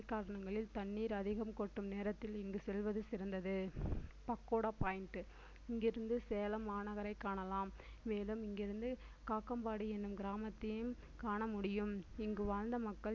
காலங்களில் தண்ணீர் அதிகம் கொட்டும் நேரத்தில் இங்கு செல்வது சிறந்தது பக்கோடா point இங்கிருந்து சேலம் மாநகரை காணலாம் மேலும் இங்கிருந்து காக்கம்பாடி என்னும் கிராமத்தையும் காண முடியும் இங்கு வாழ்ந்த மக்கள்